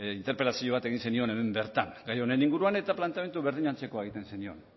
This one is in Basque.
interpelazio bat egin zenion hemen bertan gai honen inguruan eta planteamendu berdin antzekoa egiten zenion